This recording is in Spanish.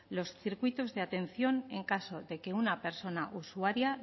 los circuitos de atención en caso de que una persona usuaria